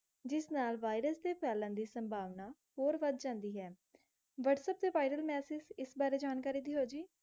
ਜਿਸ ਨਾਲ virus ਦੇ ਫੈਲਣ ਦੀ ਸੰਭਾਵਨਾ ਹੋਰ ਵੱਧ ਜਾਂਦੀ ਹੈ। WhatsApp ਤੇ viral message ਇਸ ਬਾਰੇ ਜਾਣਕਾਰੀ ਦਿਓ ਜੀ?